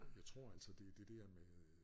Jeg tror altså det er det dér med